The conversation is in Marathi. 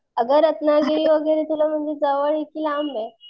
अगं रत्नागिरी वगैरे तुला म्हणजे जवळ ये की लांब ये?